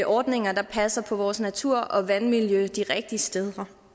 ordninger der passer på vores natur og vandmiljø de rigtige steder